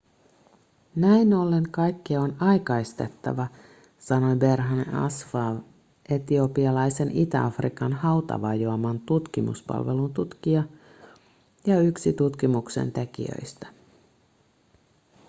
näin ollen kaikkea on aikaistettava sanoi berhane asfaw etiopialaisen itä-afrikan hautavajoaman tutkimuspalvelun tutkija ja yksi tutkimuksen tekijöistä